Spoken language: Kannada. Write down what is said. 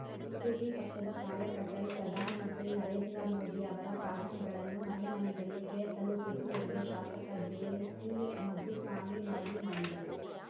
ಬಿಜೆಪಿ ಪಕ್ಷದ ಕಾರ್ಯಕರ್ತರು ಪ್ರಧಾನಮಂತ್ರಿ ನರೇಂದ್ರಮೋದಿಯವರ ಸಾಧನೆಗಳನ್ನು ಮನೆ ಮನೆಗಳಿಗೆ ತಲುಪಿಸಿ ಎಂದು ಶಾಸಕ ಜೆಸಿಮಾಧುಸ್ವಾಮಿ ಮನವಿ ಮಾಡಿದರು